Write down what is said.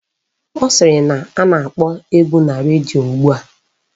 Ọ sịrị na a na-akpọ egwu na redio ugbua